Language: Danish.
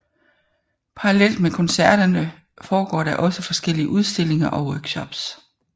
Parallelt med koncerterne foregår der også forskellige udstillinger og workshops